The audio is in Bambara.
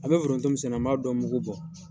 An bɛ foronto min sɛnɛ n b'a dɔ mugu bɔ.